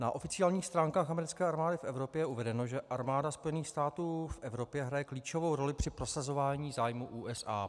Na oficiálních stránkách americké armády v Evropě je uvedeno, že armáda Spojených států v Evropě hraje klíčovou roli při prosazování zájmů USA.